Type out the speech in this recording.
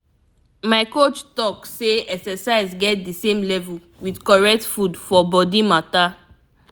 my coach talk say exercise get the same level with correct food for body matter.